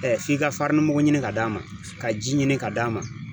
f'i ka farinimugu ɲini ka d'a ma ka ji ɲini ka d'a ma